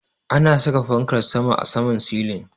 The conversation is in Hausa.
Ana sa Fankar sama a saman silin.